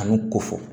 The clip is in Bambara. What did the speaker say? Kanu ko fɔ